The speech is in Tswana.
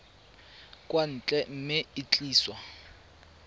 kwa ntle mme e tliswa